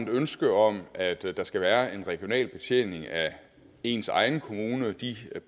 ønske om at der skal være en regional betjening af ens egen kommune og de